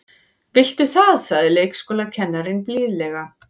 Viltu það sagði leikskólakennarinn blíðlega.